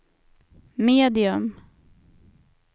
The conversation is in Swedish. medium